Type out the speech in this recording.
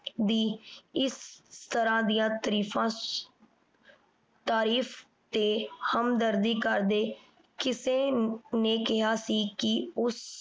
ਦੀ ਏਸ ਤਰਾਂ ਦੀਆਂ ਤਰੀਫਾਂ ਤਾਰੀਫ਼ ਤੇ ਹਮਦਰਦੀ ਕਰਦੇ ਕਿਸੇ ਨੇ ਕੇਹਾ ਸੀ ਕੇ ਓਸ